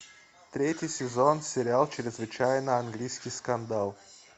третий сезон сериал чрезвычайно английский скандал